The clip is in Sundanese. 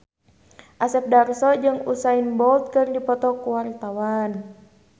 Asep Darso jeung Usain Bolt keur dipoto ku wartawan